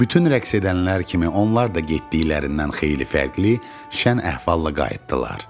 Bütün rəqs edənlər kimi onlar da getdiklərindən xeyli fərqli, şən əhvallala qayıtdılar.